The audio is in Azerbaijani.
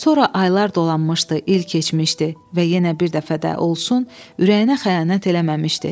Sonra aylar dolanmışdı, il keçmişdi və yenə bir dəfə də olsun ürəyinə xəyanət eləməmişdi.